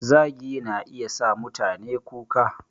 Zagi na iya sa mutane kuka